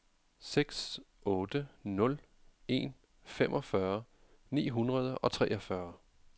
seks otte nul en femogfyrre ni hundrede og treogfyrre